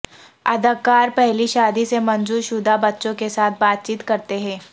اداکار پہلی شادی سے منظور شدہ بچوں کے ساتھ بات چیت کرتے ہیں